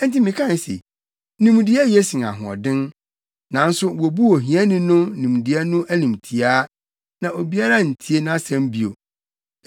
Enti mekae se, “Nimdeɛ ye sen ahoɔden.” Nanso wobuu ohiani no nimdeɛ no animtiaa, na obiara ntie nʼasɛm bio.